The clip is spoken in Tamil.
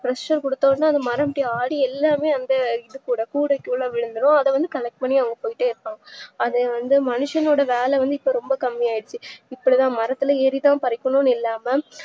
pressure குடுத்தோன்னே அந்த மரத்துல ஆடி எல்லாமே வந்து இதுக்குள்ள கூடைக்குள்ள விழுந்துடும் அதவந்து collect பண்ணி எடுத்துட்டே இருப்பாங்க அதுவந்து மனுஷன்னோட வேல வந்து ரொம்ப கம்மியாச்சு இப்போலா மரத்துல ஏறிதா பரிக்கனும்ன்னு இல்லாம